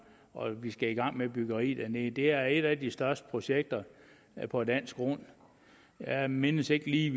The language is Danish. og vi skal i gang med byggeriet dernede det er et af de største projekter på dansk grund jeg mindes ikke lige